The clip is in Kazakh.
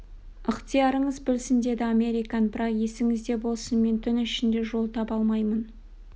ықтиярыңыз білсін деді американ бірақ есіңізде болсын мен түн ішінде жол таба алмаймын